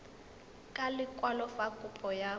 ka lekwalo fa kopo ya